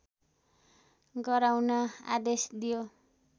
गराउन आदेश दियो